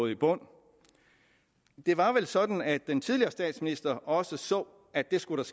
i bund det var vel sådan at den tidligere statsminister også så at det skulle